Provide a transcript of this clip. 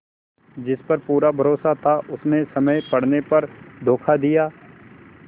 जिस पर पूरा भरोसा था उसने समय पड़ने पर धोखा दिया